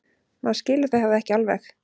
Maður skilur það ekki alveg.